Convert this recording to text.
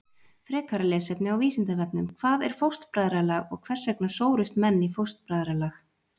Frekara lesefni á Vísindavefnum: Hvað er fóstbræðralag og hvers vegna sórust menn í fóstbræðralag?